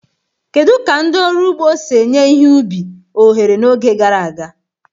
Kedu ka ndị ọrụ ugbo si enye ihe ubi ohere n'oge gara aga?